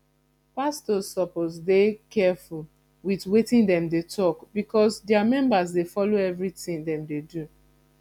pastors suppose dey careful with wetin dem dey talk because dia members dey follow everything dem dey do